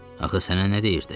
Axı sənə nə deyirdi?